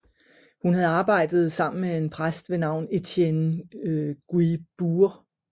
Hun havde arbejdet sammen med en præst ved navn Étienne Guibourg